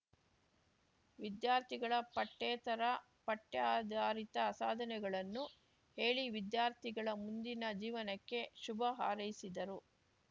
ವಿದ್ಯಾರ್ಥಿಗಳ ಪಠ್ಯೇತರಪಠ್ಯಾಧಾರಿತ ಸಾಧನೆಗಳನ್ನು ಹೇಳಿ ವಿದ್ಯಾರ್ಥಿಗಳ ಮುಂದಿನ ಜೀವನಕ್ಕೆ ಶುಭ ಹಾರೈಸಿದರು